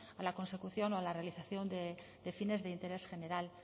a la consecución o a la realización de fines de interés general